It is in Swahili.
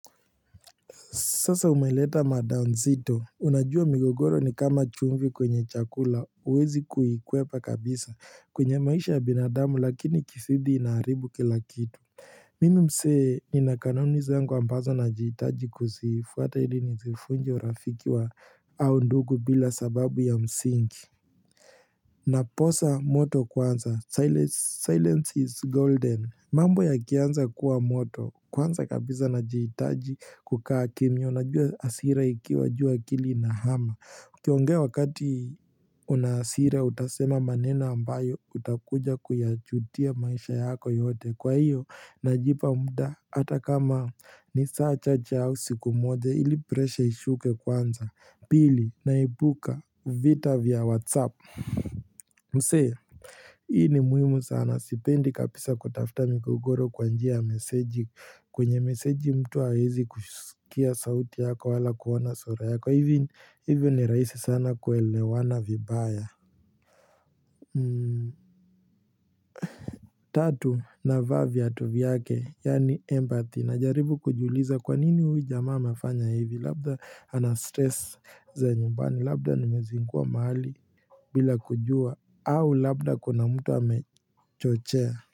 Sasa umeleta mada nzito, unajua migogoro nikala chumvi kwenye chakula, uwezi kuikwepa kabisa kwenye maisha ya binadamu lakini ikisidi inaribu kilakitu. Hh Mimi msee ninakanani zangu ambazo najiitaji kuzifuata ili nizifunje urafiki wa au ndugu bila sababu ya msingi. Mh hh nh Naposa moto kwanza, siles silence is golden. Mambo ya kianza kuwa moto kwanza kabisa najiitaji kukaa kimya unajua hasira ikiwa juu akili inahama ukiongea wakati hu unahasira utasema maneno ambayo utakuja kuyachutia maisha yako yote kwa hiyo najipa mda Hata kama ni saa chache au siku moja ili presha ishuke kwanza Pili naibuka vita vya whatsapp Mse Hii ni muhimu sana sipendi kabisa kutafta migogoro kwanjia ya meseji kwenye meseji mtu hawezi kusikia sauti yako wala kuona sura yako hivi hivyo ni raisi sana kuelewana vibaya Tatu navaa vyatu vyake yani empathy na jaribu kujiuliza kwanini huyu jamaa anafanya hivi labda ana stress za nyumbani labda nimezingua mahali bila kujua au labda kuna mtu amechochea.